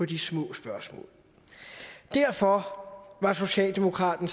de små spørgsmål derfor var socialdemokraten